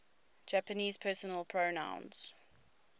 japanese personal pronouns